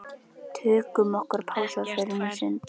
Tökum okkur pásu og förum í sund.